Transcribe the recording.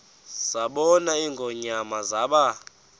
zabona ingonyama zaba